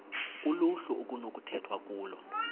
kuluhlu okunokukhethwa kulo